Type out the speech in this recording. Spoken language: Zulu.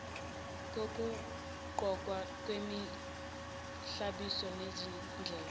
kokugqokwa kwemihlobiso nezimendlela